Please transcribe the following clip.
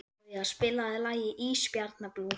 Oktavía, spilaðu lagið „Ísbjarnarblús“.